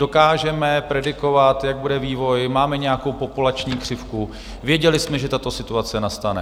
Dokážeme predikovat, jaký bude vývoj, máme nějakou populační křivku, věděli jsme, že tato situace nastane.